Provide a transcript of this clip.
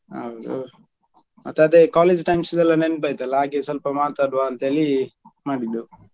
ಹೌದು ಮತ್ತೆ ಅದೇ college times ದೆಲ್ಲ ನೆನಪಾಯ್ತಲ್ವಾ ಹಾಗೆ ಸ್ವಲ್ಪ ಮಾತಾಡುವ ಅಂತ ಹೇಳಿ ಮಾಡಿದ್ದು.